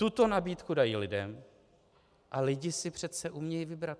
Tuto nabídku dají lidem a lidé si přece umějí vybrat.